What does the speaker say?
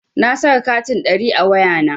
Na saka katin ɗari a wayana.